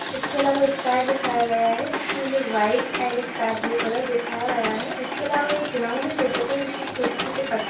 इसके अलवा स्काई दिखाया गया है जिसमें हमें white and sky blue colour दिखाया गया है इसके अलावा एक ग्राउंड है छोटा सा जिसमें छोटे-छोटे पत्थ --